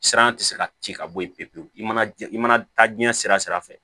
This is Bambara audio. Siran tɛ se ka ci ka bɔ yen pewu pewu i mana i mana taa jiɲɛ sira fɛ